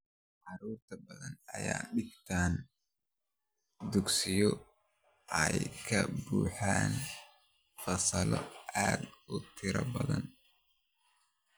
Carruur badan ayaa dhigta dugsiyo ay ka buuxaan fasallo aad u tiro badan.